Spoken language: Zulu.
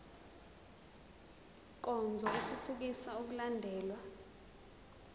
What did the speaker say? nkonzo ithuthukisa ukulandelwa